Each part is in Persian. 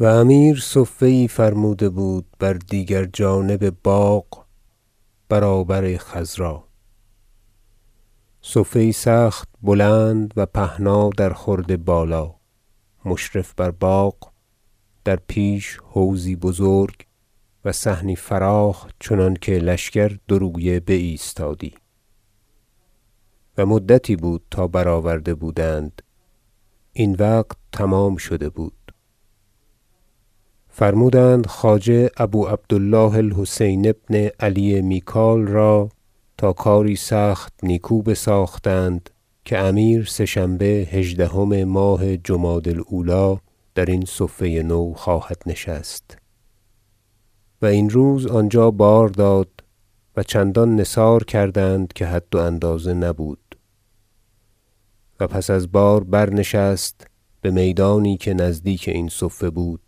و امیر صفه یی فرموده بود بر دیگر جانب باغ برابر خضرا صفه یی سخت بلند و پهنا در خورد بالا مشرف بر باغ و در پیش حوضی بزرگ و صحنی فراخ چنانکه لشکر دو رویه بایستادی و مدتی بود تا برآورده بودند این وقت تمام شده بود فرمودند خواجه ابو عبد الله الحسین بن علی میکاییل را تا کاری سخت نیکو بساختند که امیر سه شنبه هژدهم ماه جمادی الاولی درین صفه نو خواهد نشست و این روز آنجا بار داد و چندان نثار کردند که حد و اندازه نبود و پس از بار برنشست بمیدانی که نزدیک این صفه بود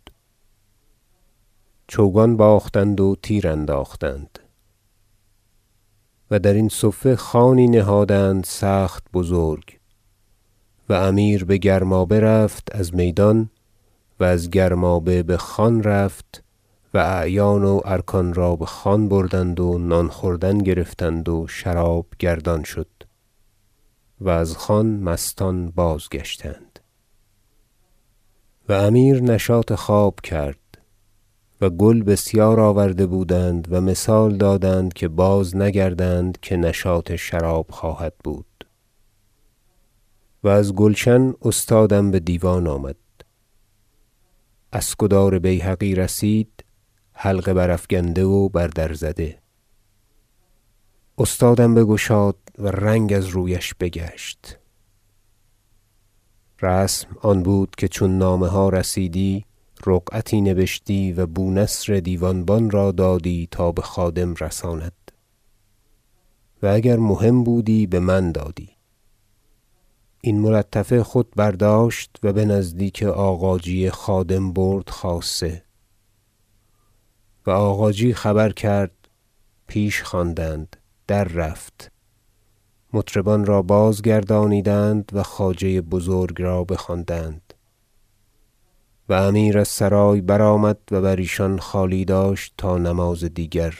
چوگان باختند و تیر انداختند و درین صفه خوانی نهادند سخت بزرگ و امیر بگرمابه رفت از میدان و از گرمابه بخوان رفت و اعیان و ارکان را بخوان بردند و نان خوردن گرفتند و شراب گردان شد و از خوان مستان بازگشتند و امیر نشاط خواب کرد و گل بسیار آوردند و مثال دادند که بازنگردند که نشاط شراب خواهد بود و از گلشن استادم بدیوان آمد اسکدار بیهقی رسید حلقه برافگنده و بر در زده استادم بگشاد و رنگ از رویش بگشت رسم آن بود که چون نامه ها رسیدی رقعتی نبشتی و بونصر دیوانبان را دادی تا بخادم رساند و اگر مهم بودی بمن دادی این ملطفه خود برداشت و بنزدیک آغاجی خادم برد خاصه و آغاجی خبر کرد پیش خواندند دررفت مطربان را بازگردانیدند و خواجه بزرگ را بخواندند و امیر از سرای برآمد و بر ایشان خالی داشت تا نماز دیگر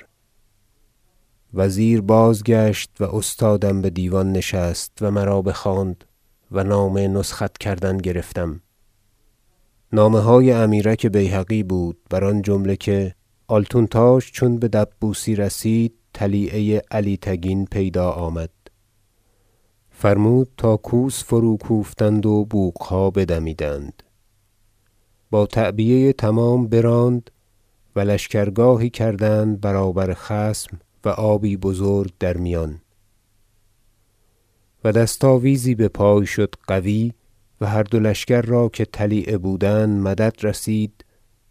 وزیر بازگشت و استادم بدیوان نشست و مرا بخواند و نامه نسخت کردن گرفتم نامه های امیرک بیهقی بود بر آن جمله که آلتونتاش چون بدبوسی رسید طلیعه علی تگین پیدا آمد فرمود تا کوس فروکوفتند و بوقها بدمیدند با تعبیه تمام براند و لشکرگاهی کردند برابر خصم و آبی بزرگ در میان و دست آویزی بپای شد قوی و هر دو لشکر را که طلیعه بودند مدد رسید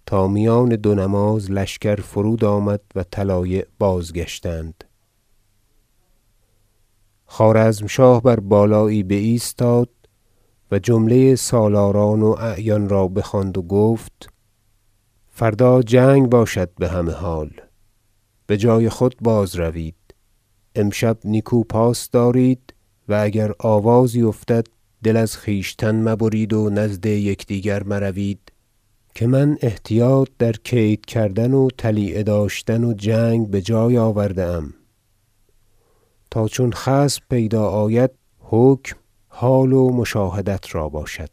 تا میان دو نماز لشکر فرود آمد و طلایع بازگشتند خوارزمشاه بر بالایی بایستاد و جمله سالاران و اعیان را بخواند و گفت فردا جنگ باشد بهمه حال بجای خود بازروید امشب نیکو پاس دارید و اگر آوازی افتد دل از خویشتن مبرید و نزدیک دیگر مروید که من احتیاط در کید کردن و طلیعه داشتن و جنگ بجای آورده ام تا چون خصم پیدا آید حکم حال و مشاهدت را باشد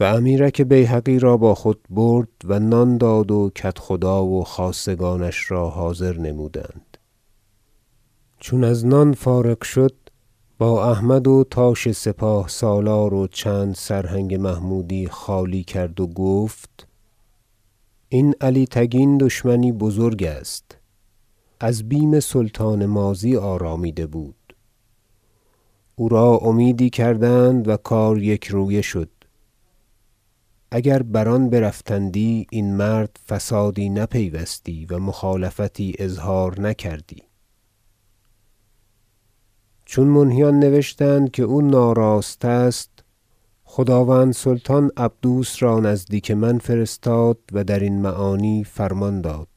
و امیرک بیهقی را با خود برد و نان داد و کدخدا و خاصگانش را حاضر نمودند چون از نان فارغ شد با احمد و تاش سپاه سالار و چند سرهنگ محمودی خالی کرد و گفت این علی تگین دشمنی بزرگ است از بیم سلطان ماضی آرامیده بود او را امیدی کردند و چون کار یکرویه شد اگر بر آن برفتندی این مرد فسادی نپیوستی و مخالفتی اظهار نکردی چون منهیان نوشتند که او ناراست است خداوند سلطان عبدوس را نزدیک من فرستاد و درین معانی فرمان داد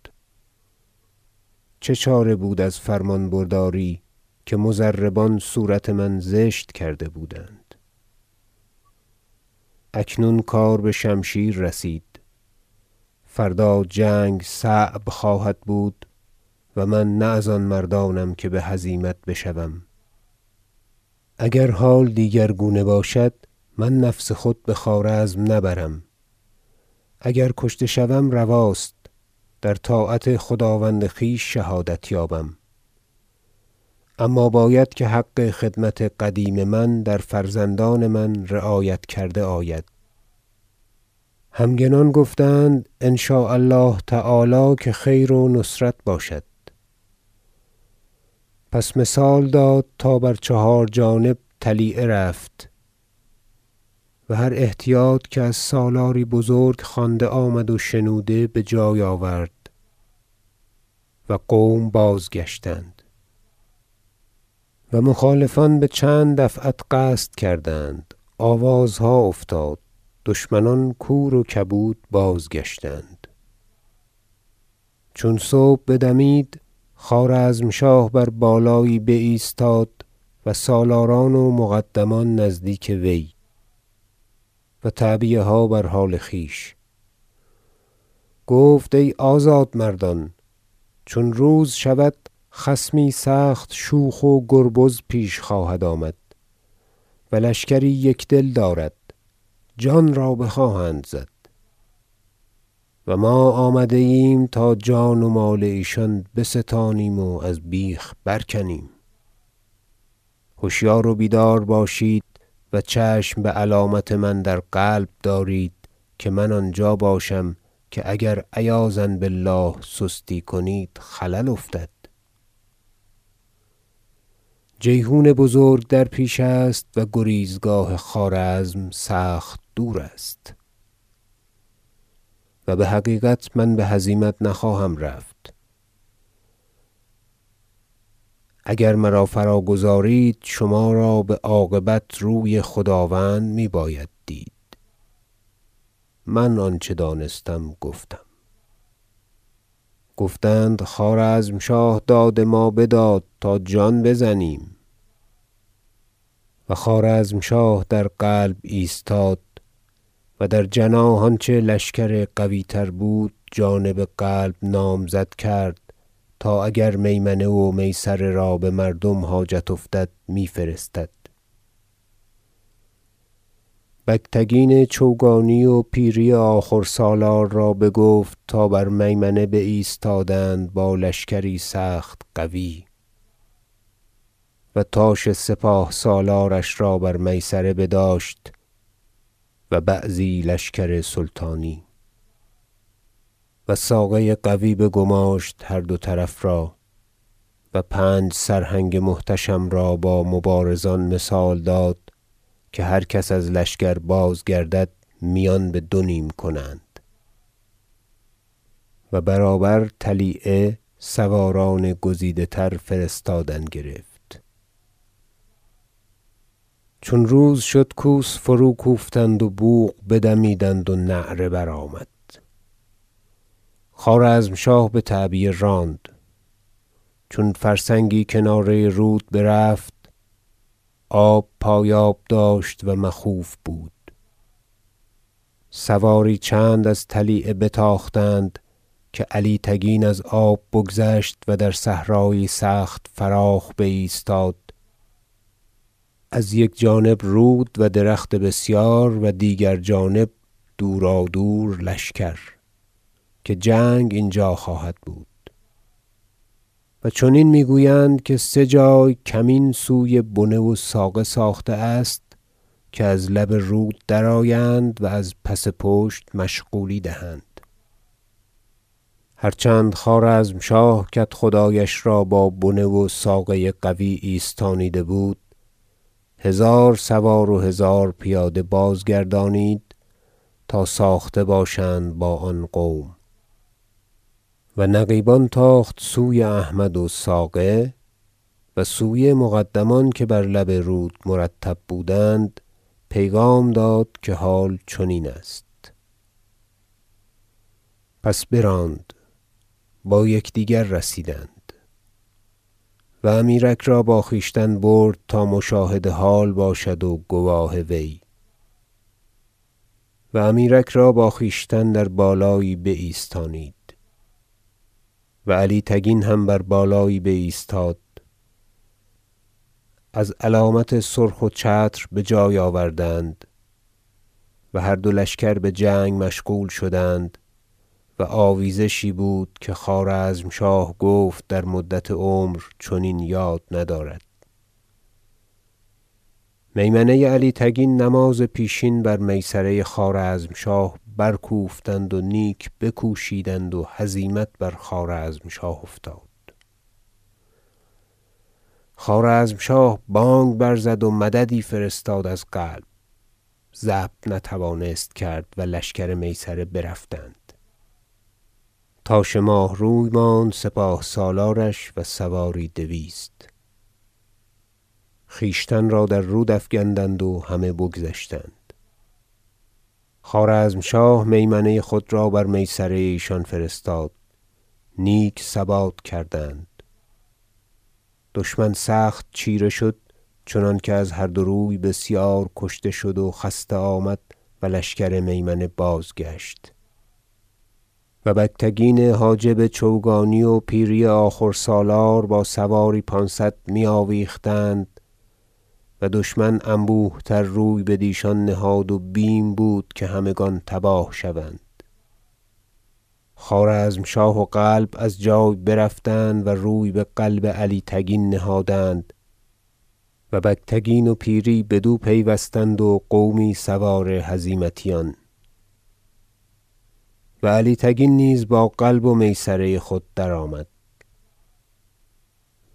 چه چاره بود از فرمان برداری که مضربان صورت من زشت کرده بودند اکنون کار بشمشیر رسید فردا جنگ صعب خواهد بود و من نه از آن مردانم که بهزیمت بشوم اگر حال دیگرگونه باشد من نفس خود بخوارزم نبرم اگر کشته شوم رواست در طاعت خداوند خویش شهادت یابم اما باید که حق خدمت قدیم من در فرزندان من رعایت کرده آید همگنان گفتند ان شاء الله تعالی که خیر و نصرت باشد پس مثال داد تا بر چهار جانب طلیعه رفت و هر احتیاط که از سالاری بزرگ خوانده آمد و شنوده بجای آورد و قوم بازگشتند و مخالفان بچند دفعت قصد کردند آوازها افتاد دشمنان کور و کبود بازگشتند چون صبح بدمید خوارزمشاه بر بالایی بایستاد و سالاران و مقدمان نزدیک وی و تعبیه ها بر حال خویش گفت ای آزاد مردان چون روز شود خصمی سخت شوخ و گربز پیش خواهد آمد و لشکری یکدل دارد جان را بخواهند زد و ما آمده ایم تا جان و مال ایشان بستانیم و از بیخ برکنیم هشیار و بیدار باشید و چشم بعلامت من در قلب دارید که من آنجا باشم که اگر عیاذا بالله سستی کنید خلل افتد جیحون بزرگ در پیش است و گریزگاه خوارزم سخت دور است و بحقیقت من بهزیمت نخواهم رفت اگر مرا فراگذارید شما را بعاقبت روی خداوند میباید دید من آنچه دانستم گفتم گفتند خوارزمشاه داد ما بداد تا جان بزنیم و خوارزمشاه در قلب ایستاد و در جناح آنچه لشکر قویتر بود جانب قلب نامزد کرد تا اگر میمنه و میسره را بمردم حاجت افتد میفرستد و بگتگین چوگانی و پیری آخور سالار را بگفت تا برمیمنه بایستادند با لشکری سخت قوی و تاش سپاه سالارش را بر میسره بداشت و بعضی لشکر سلطانی و ساقه قوی بگماشت هر دو طرف را و پنج سرهنگ محتشم را با مبارزان مثال داد که هر کس از لشکر بازگردد میان بدونیم کنند و برابر طلیعه سواران گزیده تر فرستادن گرفت چون روز شد کوس فروکوفتند و بوق بدمیدند و نعره برآمد خوارزمشاه بتعبیه راند چون فرسنگی کناره رود برفت آب پایاب داشت و مخوف بود سواری چند از طلیعه بتاختند که علی تگین از آب بگذشت و در صحرایی سخت فراخ بایستاد از یک جانب رود و درخت بسیار و دیگر جانب دورادور لشکر که جنگ اینجا خواهد بود و چنین میگویند که سه جای کمین سوی بنه و ساقه ساخته است که از لب رود درآیند و از پس پشت مشغولی دهند هر چند خوارزمشاه کدخدایش را با بنه و ساقه قوی ایستانیده بود هزار سوار و هزار پیاده بازگردانید تا ساخته باشند با آن قوم و نقیبان تاخت سوی احمد و ساقه و سوی مقدمان که بر لب رود مرتب بودند پیغام داد که حال چنین است پس براند با یکدیگر رسیدند و امیرک را با خویشتن برد تا مشاهد حال باشد و گواه وی و امیرک را با خویشتن در بالایی بایستانید و علی تگین هم بر بالایی بایستاد از علامت سرخ و چتر بجای آوردند و هر دو لشکر بجنگ مشغول شدند و آویزشی بود که خوارزمشاه گفت در مدت عمر چنین یاد ندارد میمنه علی تگین نماز پیشین بر میسره خوارزمشاه بر کوفتند و نیک بکوشیدند و هزیمت بر خوارزمشاه افتاد خوارزمشاه بانگ برزد و مددی فرستاد از قلب ضبط نتوانست کرد و لشکر میسره برفتند تاش ماهروی ماند سپاه سالارش و سواری دویست خویشتن را در رود افگندند و همه بگذشتند خوارزمشاه میمنه خود را بر میسره ایشان فرستاد نیک ثبات کردند دشمن سخت چیره شد چنانکه از هر دو روی بسیار کشته شد و خسته آمد و لشکر میمنه بازگشت و بگتگین حاجب چوگانی و پیری آخور سالار با سواری پانصد میآویختند و دشمن انبوه تر روی بدیشان نهاد و بیم بود که همگان تباه شوند خوارزمشاه و قلب از جای برفتند و روی بقلب علی تگین نهادند و بگتگین و پیری بدو پیوستند و قومی سوار هزیمتیان و علی تگین نیز با قلب و میسره خود درآمد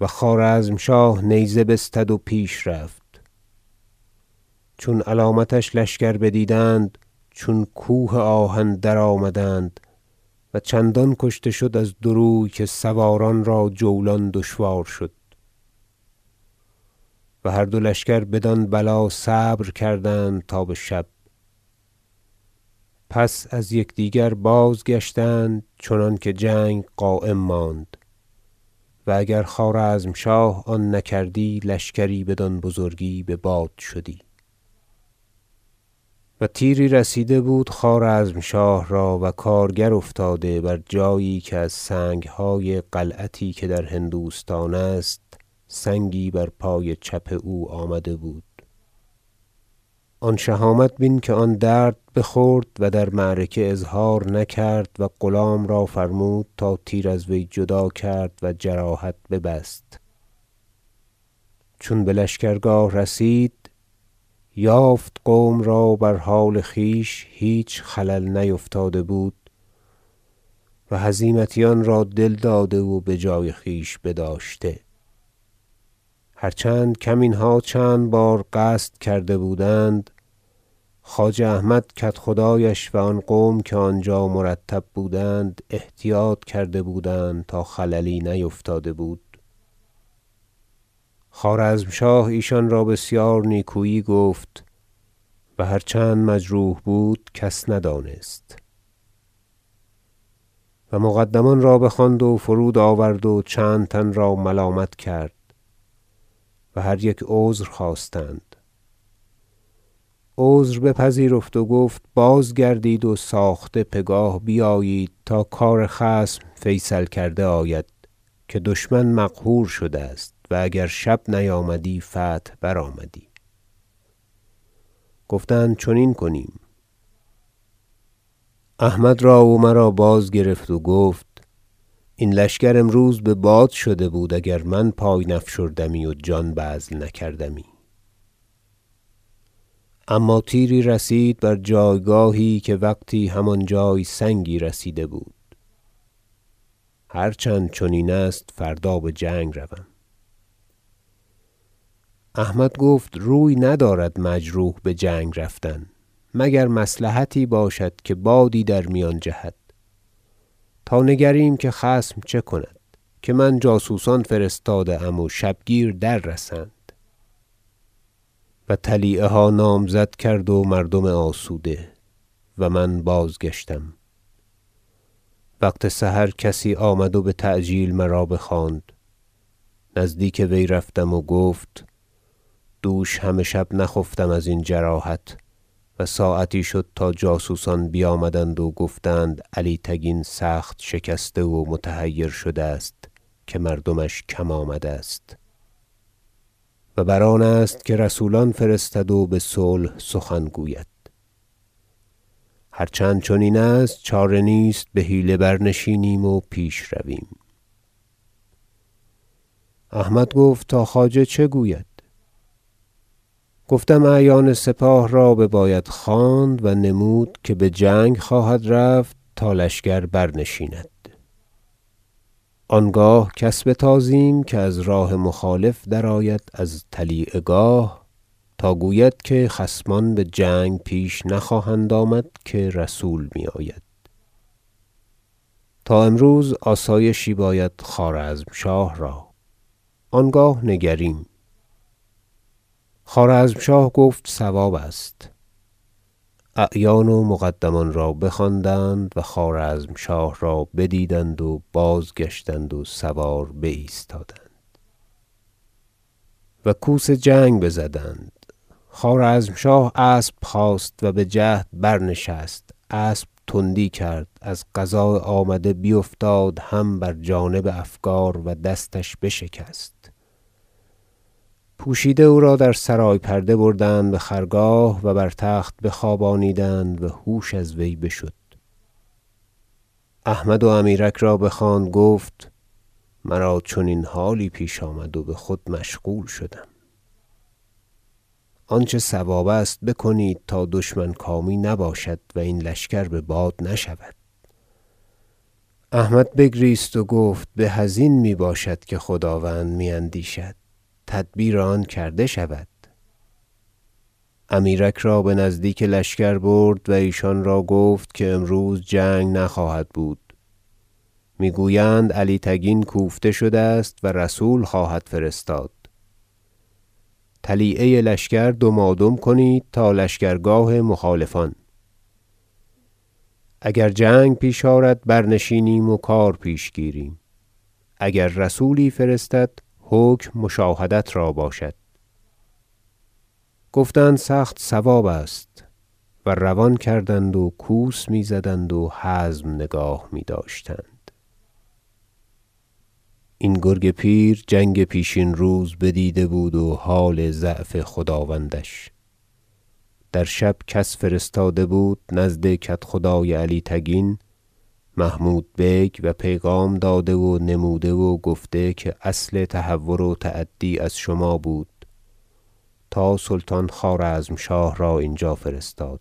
و خوارزمشاه نیزه بستد و پیش رفت چون علامتش لشکر بدیدند چون کوه آهن درآمدند و چندان کشته شد از دو روی که سواران را جولان دشوار شد و هر دو لشکر بدان بلا صبر کردند تا بشب پس از یکدیگر بازگشتند چنانکه جنگ قایم ماند و اگر خوارزمشاه آن نکردی لشکری بدان بزرگی بباد شدی و تیری رسیده بود خوارزمشاه را و کارگر افتاده بر جایی که از سنگهای قلعتی که در هندوستان است سنگی بر پای چپ او آمده بود آن شهامت بین که آن درد بخورد و در معرکه اظهار نکرد و غلام را فرمود تا تیر از وی جدا کرد و جراحت ببست و چون بلشکرگاه رسید یافت قوم را بر حال خویش هیچ خلل نیفتاده بود و هزیمتیان را دل داده و بجای خویش بداشته هر چند کمینها چند بار قصد کرده بودند خواجه احمد کدخدایش و آن قوم که آنجا مرتب بودند احتیاط کرده بودند تا خللی نیفتاده بود خوارزمشاه ایشان را بسیار نیکویی گفت و هر چند مجروح بود کس ندانست و مقدمان را بخواند و فرود آورد و چند تن را ملامت کرد و هر یک عذر خواستند عذر بپذیرفت و گفت بازگردید و ساخته پگاه بیایید تا کار خصم فیصل کرده آید که دشمن مقهور شده است و اگر شب نیامدی فتح برآمدی گفتند چنین کنیم احمد را و مرا بازگرفت و گفت این لشکر امروز بباد شده بود اگر من پای نیفشردمی و جان بذل نکردمی اما تیری رسید بر جایگاهی که وقتی همان جای سنگی رسیده بود هر چند چنین است فردا بجنگ روم احمد گفت روی ندارد مجروح بجنگ رفتن مگر مصلحتی باشد که بادی در میان جهد تا نگریم که خصم چه کند که من جاسوسان فرستاده ام و شبگیر دررسند و طلیعه ها نامزد کرد مردم آسوده و من بازگشتم وقت سحر کسی آمد و بتعجیل مرا بخواند نزدیک وی رفتم گفت دوش همه شب نخفتم ارین جراحت و ساعتی شد تا جاسوسان بیامدند و گفتند علی تگین سخت شکسته و متحیر شده است که مردمش کم آمده است و بر آنست که رسولان فرستد و بصلح سخن گوید هر چند چنین است چاره نیست بحیله برنشینیم و پیش رویم احمد گفت تا خواجه چه گوید گفتم اعیان سپاه را بباید خواند و نمود که بجنگ خواهد رفت تا لشکر برنشیند آنگاه کس بتازیم که از راه مخالفان درآید از طلیعه گاه تا گوید که خصمان بجنگ پیش نخواهند آمد که رسول میآید تا امروز آسایشی باشد خوارزمشاه را آنگاه نگریم خوارزمشاه گفت صواب است اعیان و مقدمان را بخواندند و خوارزمشاه را بدیدند و بازگشتند و سوار بایستادند و کوس جنگ بزدند خوارزمشاه اسب خواست و بجهد برنشست اسب تندی کرد از قضاء آمده بیفتاد هم بر جانب افگار و دستش بشکست پوشیده او را در سرای پرده بردند بخرگاه و بر تخت بخوابانیدند و هوش از وی بشد احمد و امیرک را بخواند گفت مرا چنین حالی پیش آمد و بخود مشغول شدم آنچه صواب است بکنید تا دشمن کامی نباشد و این لشکر بباد نشود احمد بگریست و گفت به ازین میباشد که خداوند میاندیشد تدبیر آن کرده شود امیرک را بنزدیک لشکر برد و ایشان را گفت که امروز جنگ نخواهد بود میگویند علی تگین کوفته شده است و رسول خواهد فرستاد طلیعه لشکر دمادم کنید تا لشکرگاه مخالفان اگر جنگ پیش آرد برنشینیم و کار پیش گیریم اگر رسولی فرستد حکم مشاهدت را باشد گفتند سخت صواب است و روان کردند و کوس میزدند و حزم نگاه میداشتند این گرگ پیر جنگ پیشین روز بدیده بود و حال ضعف خداوندش در شب کس فرستاده بود نزد کدخدای علی تگین محمود بیک و پیغام داده و نموده و گفته که اصل تهور و تعدی از شما بود تا سلطان خوارزمشاه را اینجا فرستاد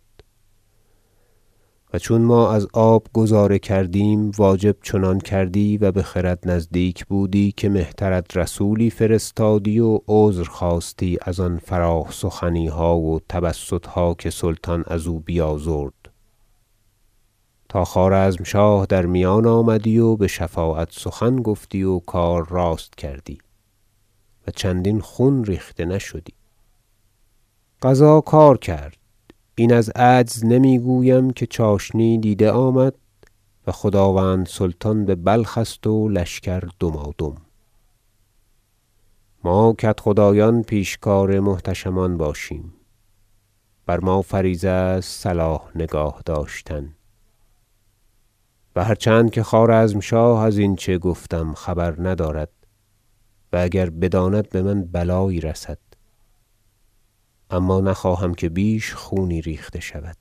و چون ما از آب گذاره کردیم واجب چنان کردی و بخرد نزدیک بودی که مهترت رسولی فرستادی و عذر خواستی از آن فراخ سخنیها و تبسطها که سلطان ازو بیازرد تا خوارزمشاه در میان آمدی و بشفاعت سخن گفتی و کار راست کردی و چندین خون ریخته نشدی قضا کار کرد این از عجز نمیگویم که چاشنی دیده آمد و خداوند سلطان ببلخ است و لشکر دمادم ما کدخدایان پیشکار محتشمان باشیم بر ما فریضه است صلاح نگاه داشتن و هر چند که خوارزمشاه از اینچه گفتم خبر ندارد و اگر بداند بمن بلایی رسد اما نخواهم که بیش خونی ریخته شود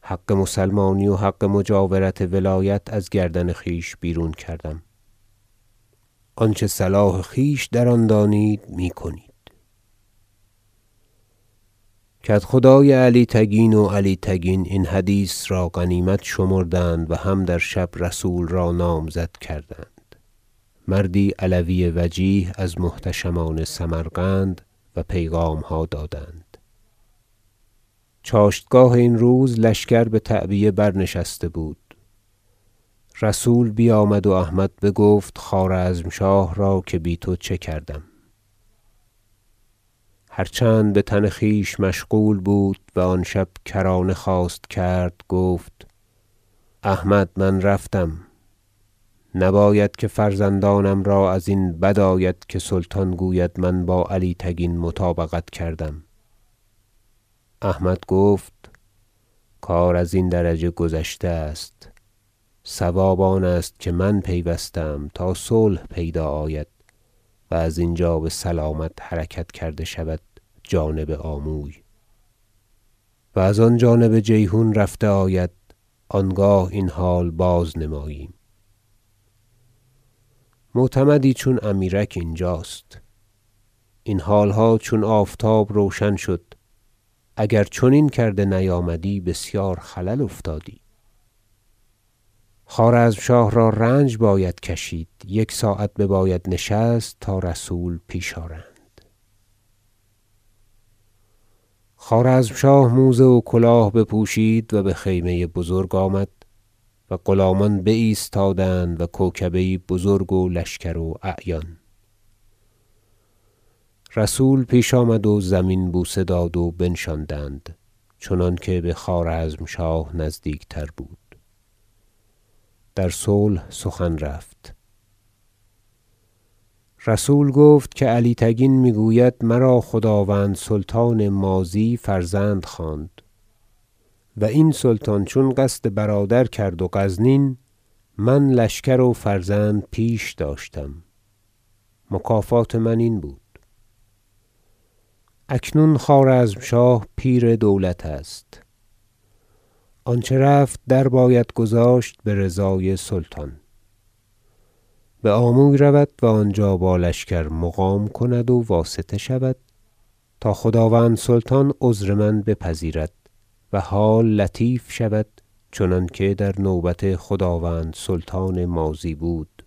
حق مسلمانی و حق مجاورت ولایت از گردن خویش بیرون کردم آنچه صلاح خویش در آن دانید میکنید کدخدای علی تگین و علی تگین این حدیث را غنیمت شمردند و هم در شب رسول را نامزد کردند مردی علوی وجیه از محتشمان سمرقند و پیغامها دادند چاشتگاه این روز لشکر بتعبیه برنشسته بود رسول بیامد و احمد بگفت خوارزمشاه را که بی تو چه کردم هر چند بتن خویش مشغول بود و آن شب کرانه خواست کرد گفت احمد من رفتم نباید که فرزندانم را ازین بد آید که سلطان گوید من با علی تگین مطابقت کردم احمد گفت کار ازین درجه گذشته است صواب آنست که من پیوسته ام تا صلح پیدا آید و از اینجا بسلامت حرکت کرده شود جانب آموی و از آن جانب جیحون رفته آید آنگاه این حال بازنمایم معتمدی چون امیرک اینجاست این حالها چون آفتاب روشن شد اگر چنین کرده نیامدی بسیار خلل افتادی خوارزمشاه را رنج باید کشید یک ساعت بباید نشست تا رسول پیش آرند خوارزمشاه موزه و کلاه بپوشید و بخیمه بزرگ آمد و غلامان بایستادند و کوکبه یی بزرگ و لشکر و اعیان رسول پیش آمد و زمین بوسه داد و بنشاندند چنانکه بخوارزمشاه نزدیکتر بود در صلح سخن رفت رسول گفت که علی تگین میگوید مرا خداوند سلطان ماضی فرزند خواند و این سلطان چون قصد برادر کرد و غزنین من لشکر و فرزند پیش داشتم مکافات من این بود اکنون خوارزمشاه پیر دولت است آنچه رفت در باید گذاشت برضای سلطان بآموی رود و آنجا با لشکر مقام کند و واسطه شود تا خداوند سلطان عذر من بپذیرد و حال لطیف شود چنانکه در نوبت خداوند سلطان ماضی بود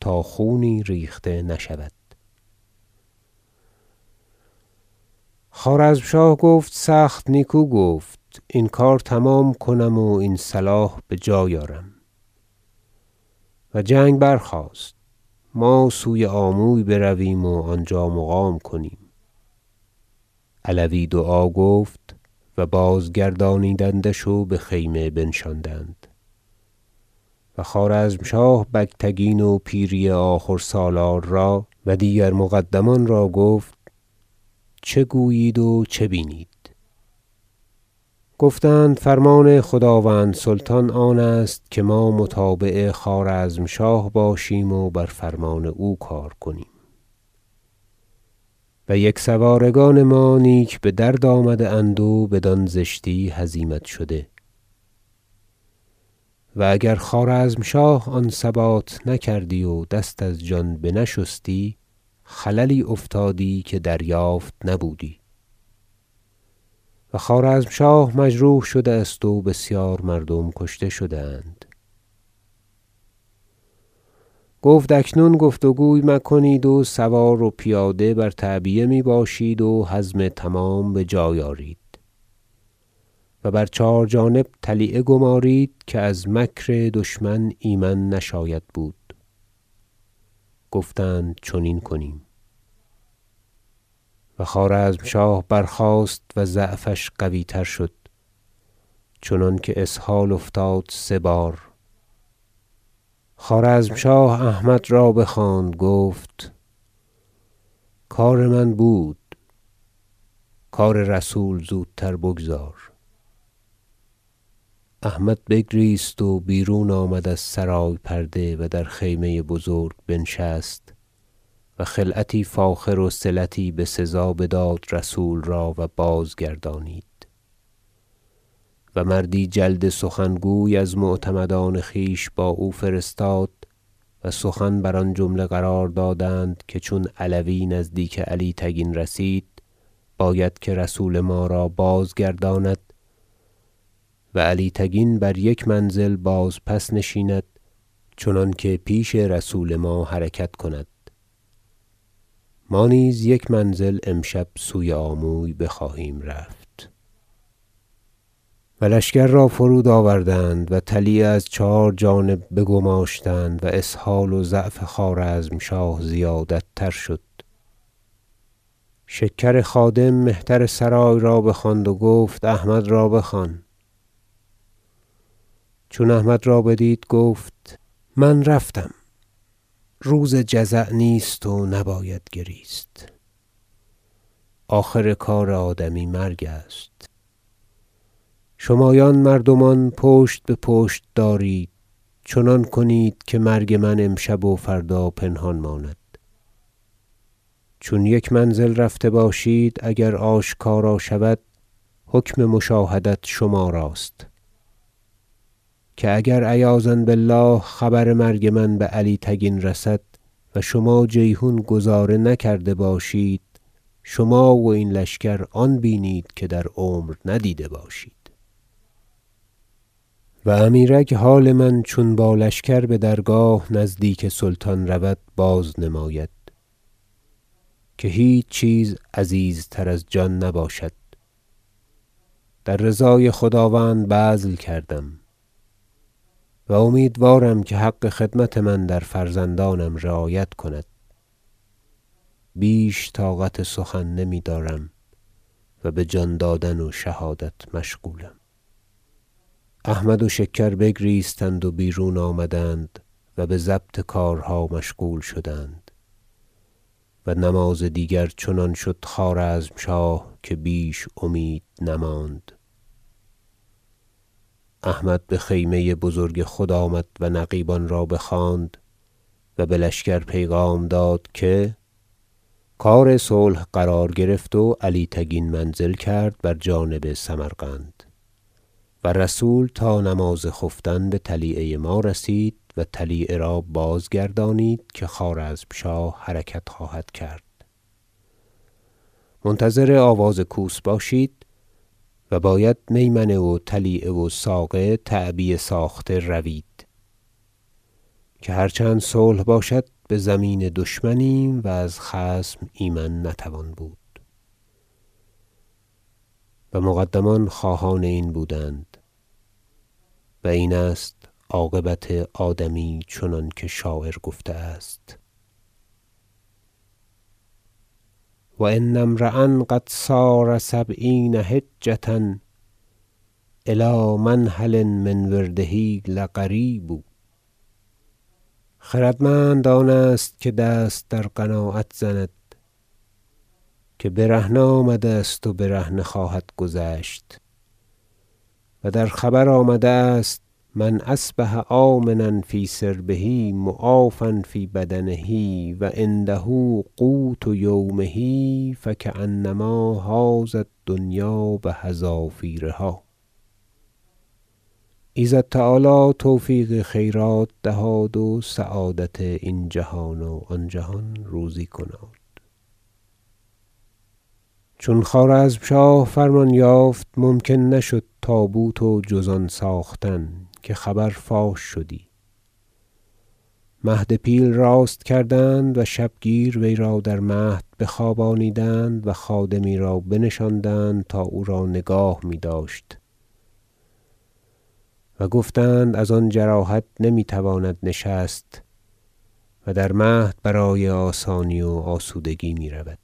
تا خونی ریخته نشود خوارزمشاه گفت سخت نیکو گفت این کار تمام کنم و این صلاح بجای آرم و جنگ برخاست ما سوی آموی برویم و آنجا مقام کنیم علوی دعا گفت و بازگردانیدندش و بخیمه بنشاندند و خوارزمشاه بگتگین و پیری آخور سالار را و دیگر مقدمان را گفت چه گویید و چه بینید گفتند فرمان خداوند سلطان آنست که ما متابع خوارزمشاه باشیم و بر فرمان او کار کنیم و یکسوارگان ما نیک بدرد آمده اند و بدان زشتی هزیمت شده و اگر خوارزمشاه آن ثبات نکردی و دست از جان بنشستی خللی افتادی که دریافت نبودی و خوارزمشاه مجروح شده است و بسیار مردم کشته شده اند گفت اکنون گفت و گوی مکنید و سوار و پیاده بر تعبیه میباشید و حزم تمام بجای آرید و بر چهار جانب طلیعه گمارید که از مکر دشمن ایمن نشاید بود گفتند چنین کنیم و خوارزمشاه برخاست و ضعفش قویتر شد چنانکه اسهال افتاد سه بار خوارزمشاه احمد را بخواند گفت کار من بود کار رسول زودتر بگذار احمد بگریست و بیرون آمد از سرای پرده و در خیمه بزرگ بنشست و خلعتی فاخر وصلتی بسزا بداد رسول را و بازگردانید و مردی جلد سخن گوی از معتمدان خویش با او فرستاد و سخن بر آن جمله قرار دادند که چون علوی نزدیک علی تگین رسید باید که رسول ما را بازگرداند و علی تگین بر یک منزل بازپس نشیند چنانکه پیش رسول ما حرکت کند ما نیز یک منزل امشب سوی آموی بخواهیم رفت و لشکر را فرود آوردند و طلیعه از چهار جانب بگماشتند و اسهال و ضعف خوارزمشاه زیادت تر شد شکر خادم مهترسرای را بخواند و گفت احمد را بخوان چون احمد را بدید گفت من رفتم روز جزع نیست و نباید گریست آخر کار آدمی مرگ است شمایان مردمان پشت به پشت آرید چنان کنید که مرگ من امشب و فردا پنهان ماند چون یک منزل رفته باشید اگر آشکار شود حکم مشاهدت شمار است که اگر عیاذا بالله خبر مرگ من به علی تگین رسد و شما جیحون گذاره نکرده باشید شما و این لشکر آن بینید که در عمر ندیده باشید و امیرک حال من چون با لشکر بدرگاه نزدیک سلطان رود بازنماید که هیچ چیز عزیزتر از جان نباشد در رضای خداوند بذل کردم و امیدوارم که حق خدمت من در فرزندانم رعایت کند بیش طاقت سخن نمیدارم و بجان دادن و شهادت مشغولم احمد و شکر بگریستند و بیرون آمدند و بضبط کارها مشغول شدند و نماز دیگر چنان شد خوارزمشاه که بیش امید نماند احمد بخیمه بزرگ خود آمد و نقیبان را بخواند و بلشکر پیغام داد که کار صلح قرار گرفت و علی تگین منزل کرد بر جانب سمرقند و رسول تا نماز خفتن بطلیعه ما رسید و طلیعه را بازگردانید که خوارزمشاه حرکت خواهد کرد منتظر آواز کوس باشید و باید میمنه و طلیعه و ساقه تعبیه ساخته روید که هر چند صلح باشد بزمین دشمنیم و از خصم ایمن نتوان بود و مقدمان خواهان این بودند- و این است عاقبت آدمی چنانکه شاعر گفته است و ان امرأ قد سار سبعین حجة الی منهل من ورده لقریب خردمند آن است که دست در قناعت زند که برهنه آمده است و برهنه خواهد گذشت و در خبر آمده است من اصبح آمنا فی سربه معافی فی بدنه و عنده قوت یومه فکانما حاز الدنیا بحذافیرها ایزد تعالی توفیق خیرات دهاد و سعادت این جهان و آن جهان روزی کناد- چون خوارزمشاه فرمان یافت ممکن نشد تابوت و جز آن ساختن که خبر فاش شدی مهد پیل راست کردند و شبگیر وی را در مهد بخوابانیدند و خادمی را بنشاندند تا او را نگاه میداشت و گفتند از آن جراحت نمیتواند نشست و در مهد برای آسانی و آسودگی میرود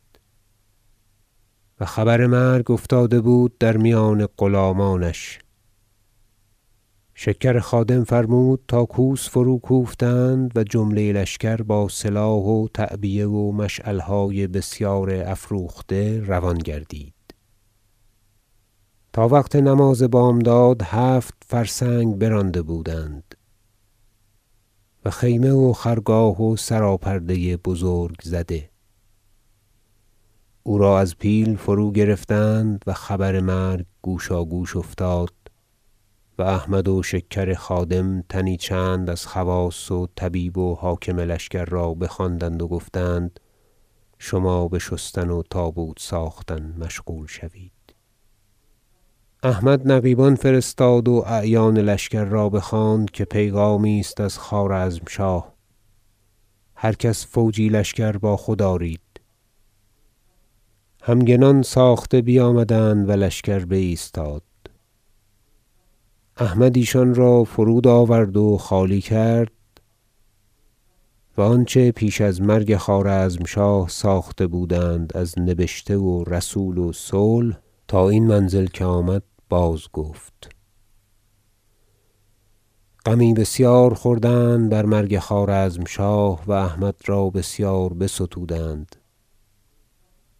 و خبر مرگ افتاده بود در میان غلامانش شکر خادم فرمود تا کوس فرو کوفتند و جمله لشکر با سلاح و تعبیه و مشعلهای بسیار افروخته روان گردید تا وقت نماز بامداد هفت فرسنگ برانده بودند و خیمه و خرگاه و سراپرده بزرگ زده او را از پیل فرو گرفتند و خبر مرگ گوشاگوش افتاد و احمد و شکر خادم تنی چند از خواص و طبیب و حاکم لشکر را بخواندند و گفتند شما بشستن و تابوت ساختن مشغول شوید احمد نقیبان فرستاد و اعیان لشکر را بخواند که پیغامی است از خوارزمشاه هر کس فوجی لشکر با خود آرید همگنان ساخته بیامدند و لشکر بایستاد احمد ایشان را فرود آورد و خالی کرد و آنچه پیش از مرگ خوارزمشاه ساخته بود از نبشته و رسول صلح تا این منزل که آمد بازگفت غمی بسیار خوردند بر مرگ خوارزمشاه و احمد را بسیار بستودند و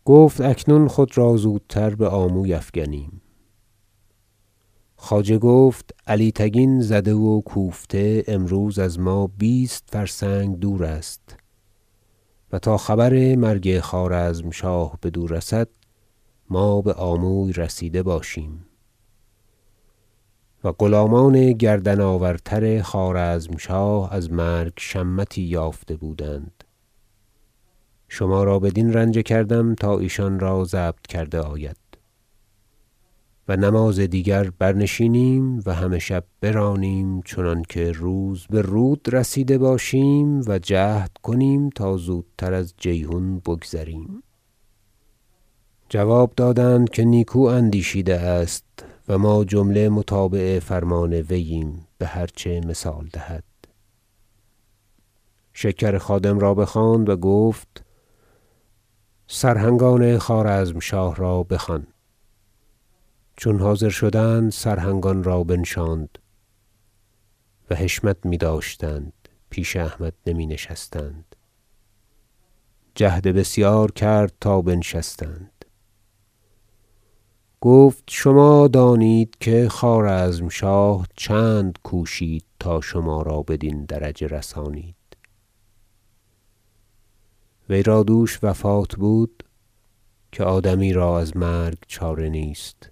گفت اکنون خود را زودتر بآموی افگنیم خواجه گفت علی تگین زده و کوفته امروز از ما بیست فرسنگ دور است و تا خبر مرگ خوارزمشاه بدو رسد ما بآموی رسیده باشیم و غلامان گردن آورتر خوارزمشاه از مرگ شمتی یافته بودند شما را بدین رنجه کردم تا ایشان را ضبط کرده آید و نماز دیگر برنشینم و همه شب برانیم چنانکه روز به رود رسیده باشیم و جهد کنیم تا زودتر از جیحون بگذریم جواب دادند که نیکو اندیشیده است و ما جمله متابع فرمان وییم بهرچه مثال دهد شکر خادم را بخواند و گفت سرهنگان خوارزمشاه را بخوان چون حاضر شدند سرهنگان را بنشاند و حشمت میداشتند پیش احمد نمی نشستند جهد بسیار کرد تا بنشستند گفت شما دانید که خوارزمشاه چند کوشید تا شما را بدین درجه رسانید وی را دوش وفات بود که آدمی را از مرگ چاره نیست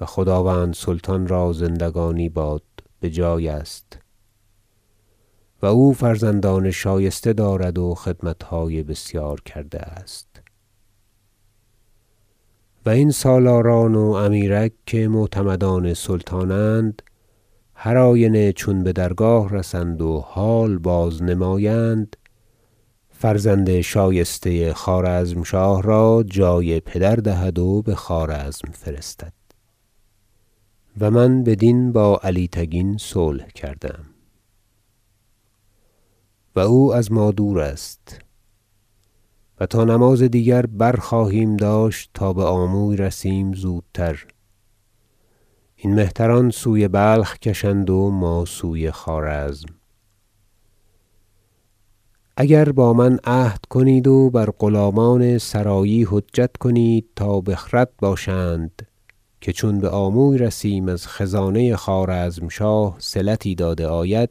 و خداوند سلطان را زندگانی باد بجای است و او فرزندان شایسته دارد و خدمتهای بسیار کرده است و این سالاران و امیرک که معتمدان سلطانند هر آینه چون بدرگاه رسند و حال بازنمایند فرزند شایسته خوارزمشاه را جای پدر دهد و بخوارزم فرستد و من بدین با علی تگین صلح کرده ام و او از ما دور است و تا نماز دیگر برخواهیم داشت تا بآموی رسیم زودتر این مهتران سوی بلخ کشند و ما سوی خوارزم اگر با من عهد کنید و بر غلامان سرایی حجت کنید تا بخرد باشند که چون بآموی رسیم از خزانه خوارزمشاه صلتی داده آید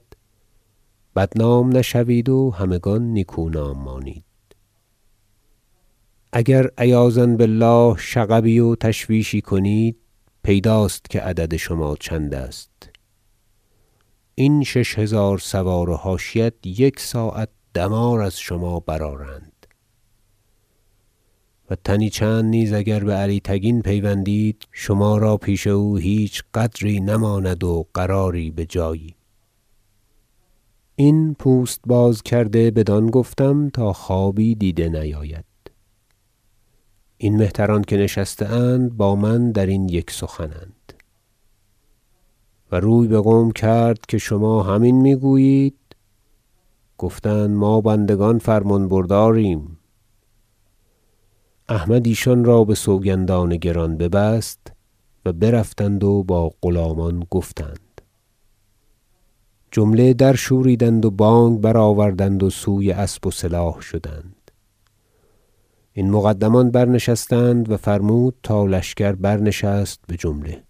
بدنام نشوید و همگان نیکونام مانید اگر عیاذا بالله شغبی و تشویشی کنید پیداست که عدد شما چند است این شش هزار سوار و حاشیت یک ساعت دمار از شما برآرند و تنی چند نیز اگر به علی تگین پیوندید شما را پیش او هیچ قدری نماند و قراری بجایی این پوست بازکرده بدان گفتم تا خوابی دیده نیاید این مهتران که نشسته اند با من درین یک سخن اند و روی بقوم کرد که شما همین میگویید گفتند ما بندگان فرمان برداریم احمد ایشان را بسوگندان گران ببست و برفتند و با غلامان گفتند جمله درشوریدند و بانگ بر- آوردند و سوی اسب و سلاح شدند این مقدمان برنشستند و فرمود تا لشکر برنشست بجمله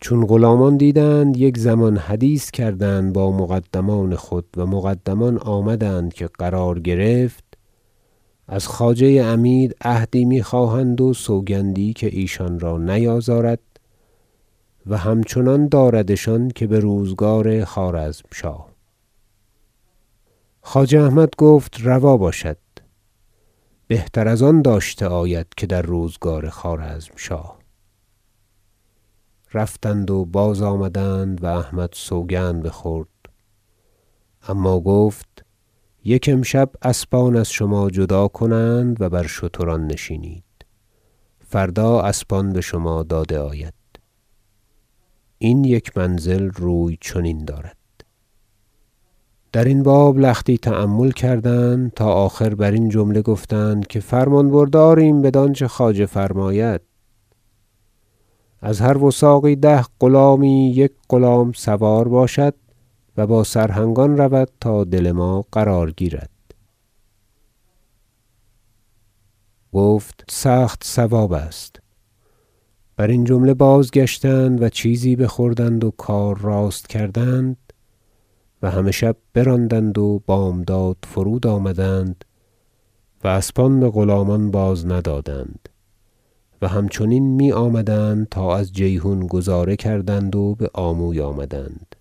چون غلامان دیدند یک زمان حدیث کردند با مقدمان خود و مقدمان آمدند که قرار گرفت از خواجه عمید عهدی میخواهند و سوگندی که ایشان را نیازارد و همچنان داردشان که بروزگار خوارزمشاه خواجه احمد گفت روا باشد بهتر از آن داشته آید که در روزگار خوارزمشاه رفتند و بازآمدند و احمد سوگند بخورد اما گفت یک امشب اسبان از شما جدا کنند و بر اشتران نشینید فردا اسبان بشما داده آید این یک منزل روی چنین دارد درین باب لختی تأمل کردند تا آخر برین جمله گفتند که فرمان برداریم بدانچه خواجه فرماید از هر وثاقی ده غلامی یک غلام سوار باشد و با سرهنگان رود تا دل ما قرار گیرد گفت سخت صواب است برین جمله بازگشتند و چیزی بخوردند و کار راست کردند و همه شب براندند و بامداد فرود آمدند و اسبان بغلامان بازندادند و همچنین میآمدند تا از جیحون گذاره کردند و بآموی آمدند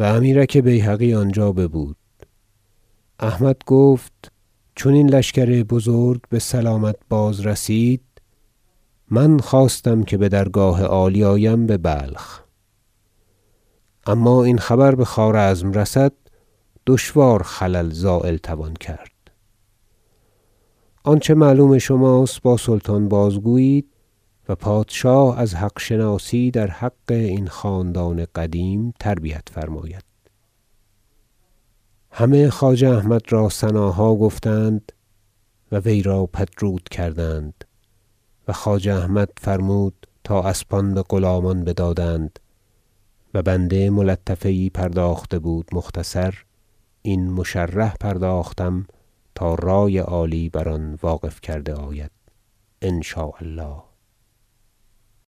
و امیرک بیهقی آنجا ببود احمد گفت چون این لشکر بزرگ بسلامت بازرسید من خواستم که بدرگاه عالی آیم ببلخ اما این خبر بخوارزم رسد دشوار خلل زایل توان کرد آنچه معلوم شماست با سلطان بازگویید و پادشاه از حق شناسی در حق این خاندان قدیم تربیت فرماید همه خواجه احمد را ثناها گفتند و وی را پدرود کردند و خواجه احمد فرمود تا اسبان بغلامان بازدادند و بنده ملطفه یی پرداخته بود مختصر این مشرح پرداختم تا رأی عالی بر آن واقف گردد ان شاء الله تعالی